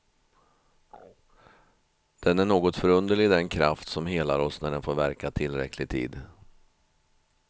Den är något förunderligt, den kraft som helar oss när den får verka tillräcklig tid.